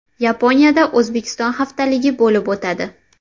Yaponiyada O‘zbekiston haftaligi bo‘lib o‘tadi.